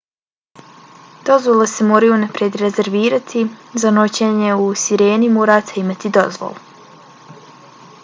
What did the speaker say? dozvole se moraju unaprijed rezervirati. za noćenje u sireni morate imati dozvolu